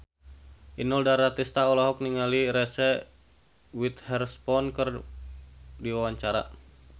Inul Daratista olohok ningali Reese Witherspoon keur diwawancara